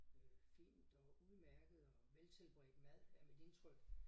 Øh fint og udmærket og veltilberedt mad er mit indtryk